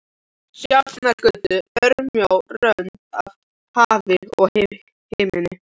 Sjafnargötu, örmjó rönd af hafi og himinn.